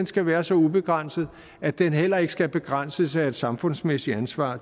skal være så ubegrænset at den heller ikke skal begrænses af et samfundsmæssigt ansvar